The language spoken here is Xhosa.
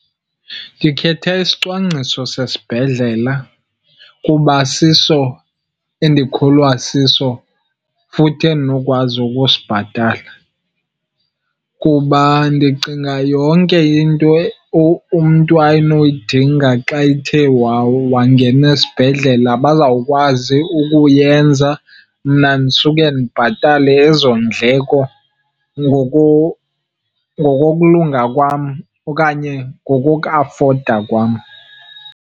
Ndikhetha isicwangciso sesibhedlela, kuba siso endikholwa siso futhi endinokwazi ukusibhatala. Kuba ndicinga yonke into umntu anoyidinga xa ethe wangena esibhedlela bazawukwazi ukuyenza, mna ndisuke ndibhatale ezo ndleko ngokokulunga kwam okanye ngokokuafoda kwam.